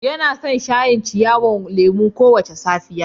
Yana shan shayin ciyawan lemu kowace safiya.